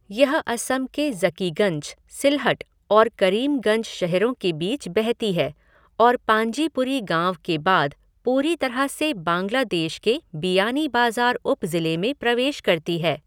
यह असम के ज़कीगंज, सिलहट और करीमगंज शहरों के बीच बहती है और पांजीपुरी गाँव के बाद पूरी तरह से बांग्लादेश के बिआनीबाज़ार उपज़िले में प्रवेश करती है।